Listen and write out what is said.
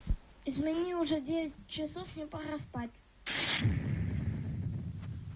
измени уже девять часов мне пора спать